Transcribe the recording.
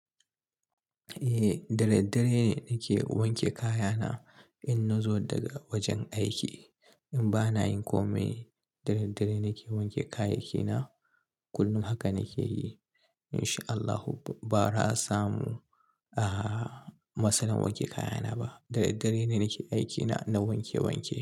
Eh, da daddare nake wanke kayana in nazo daga wajen aiki. In bana yin komai, da daddare nake wanke kayayyakina. Kullum haka nake yi. In sha Allahu bara a samu ah matsalan wanke kayana ba. Da daddare ne nake aikina na wanke wanke.